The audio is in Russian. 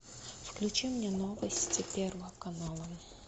включи мне новости первого канала